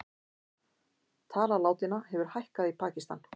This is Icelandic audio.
Tala látinna hefur hækkað í Pakistan